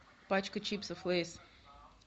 пачка чипсов лейс